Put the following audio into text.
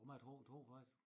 Jamen a tror tror faktisk